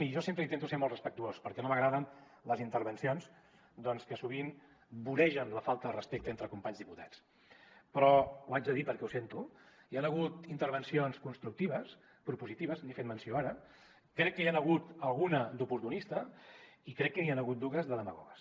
i jo sempre intento ser molt respectuós perquè no m’agraden les intervencions que sovint voregen la falta de respecte entre companys diputats però ho haig de dir perquè ho sento hi han hagut intervencions constructives propositives n’he fet menció ara crec que n’hi ha hagut alguna d’oportunista i crec que n’hi han hagut dues de demagogues